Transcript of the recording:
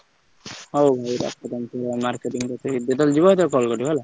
ହଉ ହଉ ରଖ ଯେତେବେଳେ ଯିବ ସେତେବେଳେ call କରିବ ହେଲା।